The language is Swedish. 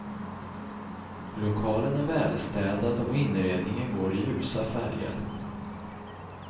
Lokalen är välstädad och inredningen går i ljusa färger.